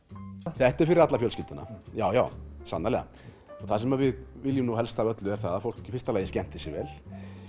þetta er fyrir alla fjölskylduna já já sannarlega og það sem við viljum nú helst af öllu er að fólk skemmti sér vel